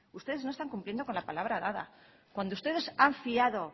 ustedes no están cumpliendo con la palabra dada cuando ustedes han fiado